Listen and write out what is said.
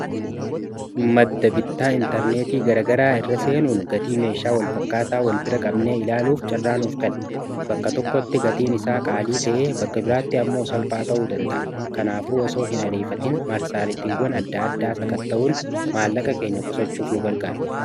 Madda-bittaa intarneetii garagaraa irra seenuun gatii meeshaa walfakkaataa wal bira qabnee ilaaluuf carraa nuuf keena bakka tokkotti gatiin isaa qaalii ta'ee bakka biraatti ammoo salphaa ta'uu danda'a kanaafuu osoo hin arifatin marsaaritiiwwan adda addaa sakatta'uun maallaqa keenya qusachuuf nu gargaara.